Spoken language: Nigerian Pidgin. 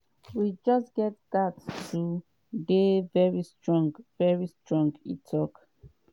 we just gatz to dey veri strong veri strong" e tok.